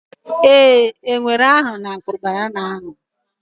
Ee, enwe ahụ napụrụ banana ahụ